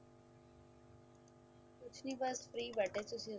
ਕੁਝ ਨਹੀਂ ਬੱਸ free ਬੈਠੇ ਸੀ